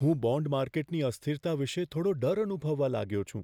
હું બોન્ડ માર્કેટની અસ્થિરતા વિશે થોડો ડર અનુભવવા લાગ્યો છું.